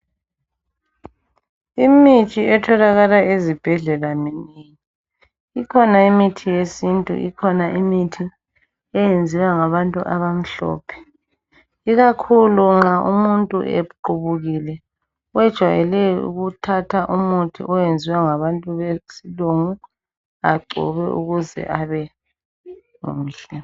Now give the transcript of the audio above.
Imithi etholakala ezibhedlela minengi. lkhona imithi yesintu, ikhona imithi eyenziwa ngabantu abamhlophe, Ikakhulu nxa umuntu equbukile, bejwayele ukuthatha umuthi oyenziwe ngabantu besilungu. Agcobe ukuze abemuhle.